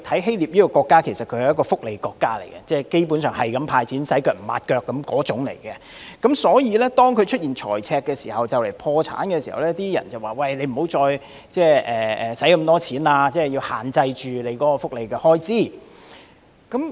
希臘是一個福利國家，基本上不斷"派錢"，"洗腳唔抹腳"，所以在出現財赤並面臨破產時，有意見呼籲當地政府不應再大灑金錢，要限制福利開支。